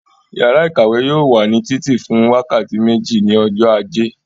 Yàrá ìkàwé yóò wà ní títì fún wákàtí méjì ní ọjọ́ ajé.